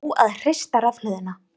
Nóg að hrista rafhlöðuna